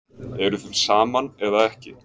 Eruð þið saman eða ekki?